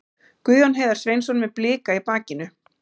Guðjón Heiðar Sveinsson með Blika í bakinu.